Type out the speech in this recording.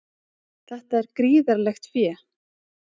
Það er gríðarlegt fé